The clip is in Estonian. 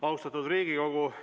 Austatud Riigikogu!